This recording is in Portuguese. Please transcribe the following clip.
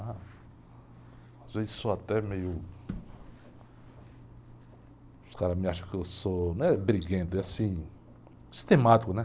Às vezes, sou até meio... Os caras me acham que eu sou... Não é briguento, é assim, sistemático, né?